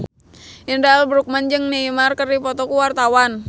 Indra L. Bruggman jeung Neymar keur dipoto ku wartawan